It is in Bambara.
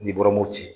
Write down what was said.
N'i bɔra mopti